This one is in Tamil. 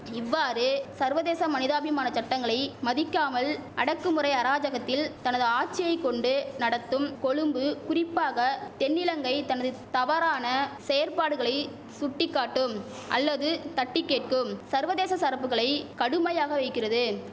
இவ்வாறு சர்வதேச மனிதாபிமான சட்டங்களை மதிக்காமல் அடக்குமுறை அராஜகத்தில் தனது ஆட்சியை கொண்டு நடத்தும் கொழும்பு குறிப்பாக தென்னிலங்கை தனதுத் தவறான செயற்பாடுகளை சுட்டிகாட்டும் அல்லது தட்டிகேட்கும் சர்வதேச சரப்புகளை கடுமையாக வைகிறது